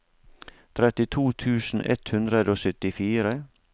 trettito tusen ett hundre og syttifire